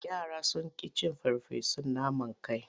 Yara sun ƙi cin farfesun naman kai.